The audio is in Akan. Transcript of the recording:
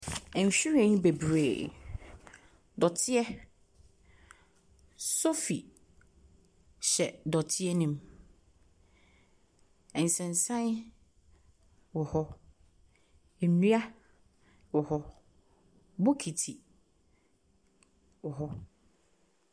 Nhwiren bebree. Dɔteɛ, sofi hyɛ dɔteɛ nim. Ɛnsensan wɔ hɔ, nnua wɔ hɔ, bokiti wɔ hɔ.